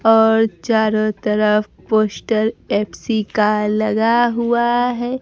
और चारों तरफ पोस्ट फ_सी का लगा हुआ है।